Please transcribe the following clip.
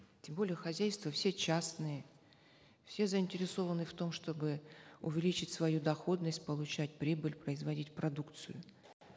тем более хозяйства все частные все заинтересованы в том чтобы увеличить свою доходность получать прибыль производить продукцию